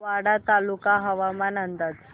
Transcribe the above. वाडा तालुका हवामान अंदाज